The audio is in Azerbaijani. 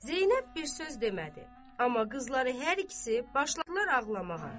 Zeynəb bir söz demədi, amma qızları hər ikisi başladılar ağlamağa.